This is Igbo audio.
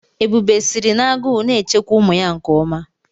Ebube sịrị nagu na-echekwa ụmụ ya nkeọma.